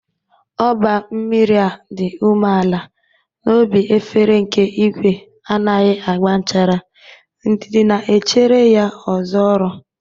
Óba mmiri a dị umeala n'obi efere nke igwe anaghị agba nchara, ndidi na-echere ya ọzọ ọrụ.